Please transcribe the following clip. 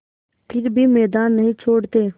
फिर भी मैदान नहीं छोड़ते